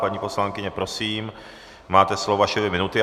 Paní poslankyně, prosím, máte slovo, vaše dvě minuty.